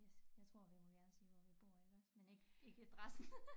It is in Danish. Yes jeg tror vi må gerne sige hvor vi bor iggås men ikke ikke adressen